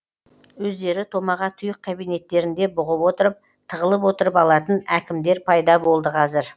өздері томаға тұйық кабинеттерінде бұғып отырып тығылып отырып алатын әкімдер пайда болды қазір